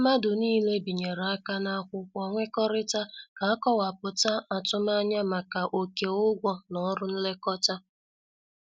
Mmadụ niile binyere aka na akwụkwọ nwekorita ka- akowaputa atumanya maka oké ụgwọ na ọrụ nlekọta.